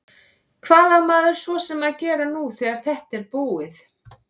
Hvað á maður svo að gera nú þegar þetta er búið?